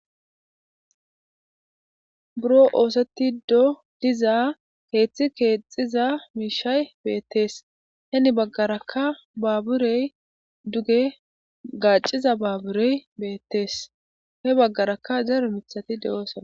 Buro oosettido diza keeththi keexxiza miishshay beetees; heni bagaarakka baburey duge gaacciza baaburey beetees; he bagaarakka daro miththati de'osonna.